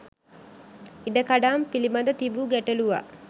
ඉඩකඩම් පිළිබඳ තිබූ ගැටලුවක්